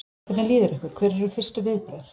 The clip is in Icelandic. Hvernig líður ykkur, hver eru fyrstu viðbrögð?